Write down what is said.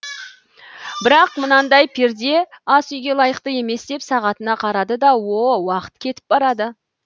бірақ мынандай перде асүйге лайық емес деп сағатына қарады да о уақыт кетіп барады